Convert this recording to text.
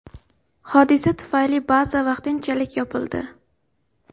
Hodisa tufayli baza vaqtinchalik yopildi.